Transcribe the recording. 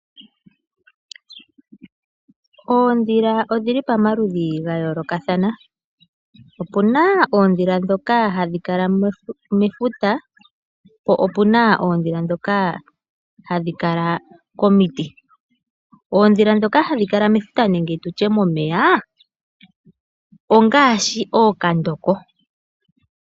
Oondhila odhili pomaludhi ga yoolokathana. Opuna oondhila ndhoka hadhi kala mefuta po opuna oondhila dhoka hadhi kala komiti. Oondhila ndhoka hadhi kala mefuta nenge momeya ongaashi ookandoko